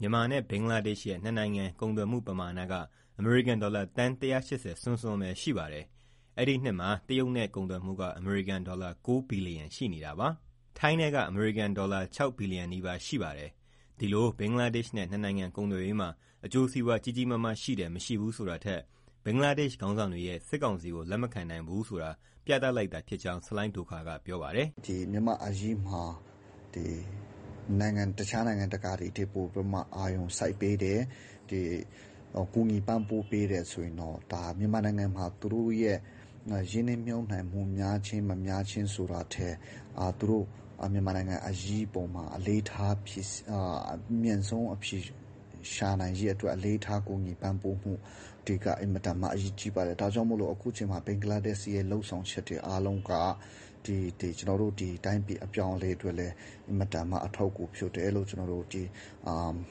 မြန်မာနဲ့ ဘင်္ဂလားဒေ့ရှ်ရဲ့ နှစ်နိုင်ငံ ကုန်သွယ်မှု ပမာဏက အမေရိကန်ဒေါ်လာ သန်း ၁၈၀ စွန်းစွန်းပဲ ရှိပါတယ်။ အဲဒီနှစ်မှာ တရုတ်နဲ့ ကုန်သွယ်မှုက အမေရိကန်ဒေါ်လာ ၉ ဘီလီယံ ရှိနေတာပါ။ ထိုင်းနဲ့က အမေရိကန်ဒေါ်လာ ၆ ဘီလီယံနီးပါး ရှိပါတယ်။ ဒီလို ဘင်္ဂလားဒေ့ရှ်နဲ့ နှစ်နိုင်ငံ ကုန်သွယ်ရေးမှာ အကျိုးစီးပွား ကြီးကြီးမားမား ရှိတယ်၊ မရှိဘူးဆိုတာထက် ဘင်္ဂလားဒေ့ရှ် ခေါင်းဆောင်တွေရဲ့ စစ်ကောင်စီကို လက်မခံနိုင်ဘူးဆိုတာ ပြသလိုက်တာ ဖြစ်ကြောင်း ဆလိုင်းဒိုခါရ်က ပြောပါတယ်။ "မြန်မာ့အရေးမှာ တခြားနိုင်ငံတွေထက် ပိုပြီးတော့ အာရုံစိုက်ပေးတယ်။ ကူညီပံ့ပိုးပေးတယ်ဆိုရင်တော့ မြန်မာနိုင်ငံမှာ သူတို့ရဲ့ရင်းနှီးမြှုပ်နှံမှုများခြင်း၊ မများခြင်းဆိုတာထက် သူတို့ မြန်မာနိုင်ငံအရေးအပေါ်မှာ အလေးထားပြီး အမြန်ဆုံး အဖြေရှာနိုင်ရေးအတွက် အလေးထားကူညီပံ့ပိုးမှုက အဓိက အရေးကြီးပါတယ်။ ဒါကြောင့် အခုချိန်မှာ ဘင်္ဂလားဒေ့ရှ်ရဲ့လုပ်ဆောင်ချက်တွေက ကျနော်တို့ တိုင်းပြည် အပြောင်းအလဲအတွက်လည်း အင်မတန်မှ အထောက်အကူ ဖြစ်တယ်လို့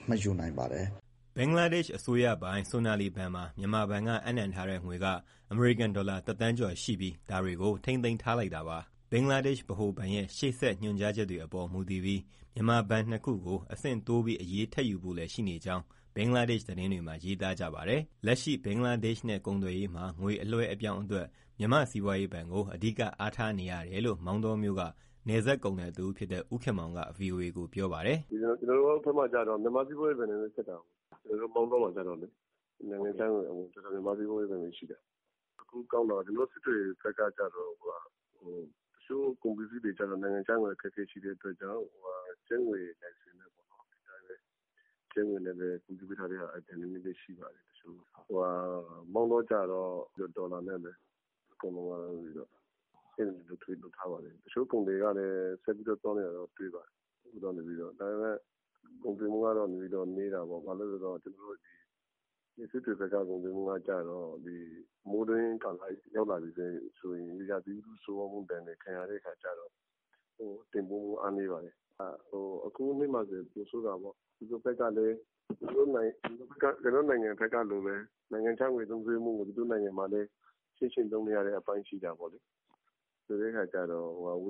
မှတ်ယူနိုင်ပါတယ်။" ဘင်္ဂလားဒေ့ရှ် အစိုးရပိုင် Sonali ဘဏ်မှာ မြန်မာဘက်က အပ်နှံထားတဲ့ငွေက အမေရိကန်ဒေါ်လာတသန်းကျော် ရှိပြီး ဒါတွေကို ထိန်းသိမ်းထားလိုက်တာပါ။ ဘင်္ဂလားဒေ့ရှ် ဗဟိုဘဏ်ရဲ့ ရှေ့ဆက် ညွှန်ကြားချက်တွေအပေါ်မူတည်ပြီး မြန်မာဘဏ်နှစ်ခုကို အဆင့်တိုးပြီး အရေးထပ်ယူဖို့လည်း ရှိနေကြောင်း ဘင်္ဂလားဒေ့ရှ် သတင်းတွေမှာ ရေးသားကြပါတယ်။ လက်ရှိ ဘင်္ဂလားဒေ့ရှ်နဲ့ကုန်သွယ်ရေးမှာ ငွေအလွှဲအပြောင်းအတွက် မြန်မာ့စီးပွားရေးဘဏ်ကို အဓိက အားထားနေရတယ်လို့ မောင်တောမြို့က နယ်စပ်ကုန်သည်တဦး ဖြစ်တဲ့ဦးခင်မောင်က ဗွီအိုအေကို ပြောပါတယ်။ "ကျနော်တို့ဘက်မှာ မြန်မာ့စီးပွားရေးဘဏ်နဲ့ဆက်တာကိုး။ ကျနော်တို့ မောင်တောမှာ။ နိုင်ငံခြားငွေအဝင်အထွက်က မြန်မာ့စီးပွားရေးဘဏ် ရှိတယ်။ တခုကောင်းတာ စစ်တွေဘက်က တချို့ကုန်ပစ္စည်းတွေက နိုင်ငံခြားငွေ အခက်အခဲရှိတဲ့အတွက် ကျပ်ငွေနဲ့ပဲ တင်သွင်းထားတာ ရှိပါတယ်။ မောင်တောကတော့ ဒေါ်လာနဲ့ပဲ trade လုပ်ထားပါတယ်။ တချို့ ကုန်သည်ကတော့ ဆက်ပြီး သွားနေတာတော့ တွေ့ပါတယ်။ ဒါပေမဲ့ ကုန်သွယ်မှုက နည်းတော့ နည်းတာပေါ့။ ဘာလို့လဲဆိုတော့ စစ်တွေဘက်က မိုးတွင်းကာလရောက်လာပြီဆိုရင် ရာသီဥတု ဆိုးရွားတဲ့ ဒဏ်လည်းခံရတော့ တင်သွင်းမှုအားနည်းပါတယ်။ အခုနှစ်မှာဆို ပိုဆိုးတာပေါ့။ သူတို့ဘက်ကလည်း ကျနော်တို့ နိုင်ငံလိုပဲ နိုင်ငံခြားငွေသုံးစွဲမှုကို သူတို့မှာလည်း ချင့်ချိန်သုံးနေရတဲ့အပိုင်းရှိတော့ ဝ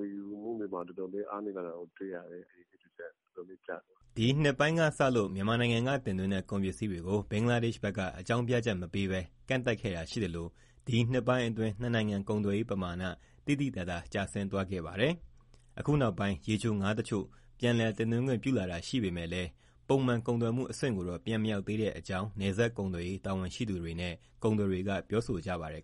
ယ်ယူမှုတွေမှာ အတော်အားနည်းတာ တွေ့ရတယ်။" ဒီနှစ်ဆန်းပိုင်းက စလို့ မြန်မာနိုင်ငံကတင်သွင်းတဲ့ ကုန်ပစ္စည်းတွေကို ဘင်္ဂလားဒေ့ရှ် ဘက်က အကြောင်းပြချက်မပေးဘဲ ကန့်သတ်ခဲ့တာရှိသလို ဒီနှစ်ပိုင်းအတွင်း နှစ်နိုင်ငံ ကုန်သွယ်ရေးပမာဏ သိသိသာသာကျဆင်းသွားခဲ့ပါတယ်။ အခုနောက်ပိုင်း ရေချိုငါးတချို့ ပြန်လည်တင်သွင်းခွင့် ပြုလာတာရှိပေမဲ့လည်း ပုံမှန်ကုန်သွယ်မှုအဆင့်ကိုတော့ ပြန်မရောက်သေးတဲ့အကြောင်း နယ်စပ် ကုန်သွယ်ရေးတာဝန်ရှိသူတွေနဲ့ ကုန်သည်တွေက ပြောဆိုကြပါတယ်